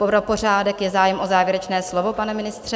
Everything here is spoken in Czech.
Pro pořádek: Je zájem o závěrečné slovo, pane ministře?